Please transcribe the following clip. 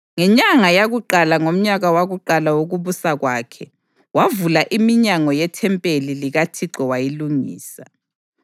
Ngenyanga yakuqala ngomnyaka wakuqala wokubusa kwakhe, wavula iminyango yethempeli likaThixo wayilungisa.